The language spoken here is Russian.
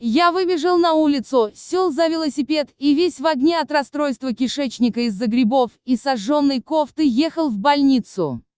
и я выбежал на улицу сел за велосипед и весь в огне от расстройства кишечника из-за грибов и сожжённой кофтой ехал в больницу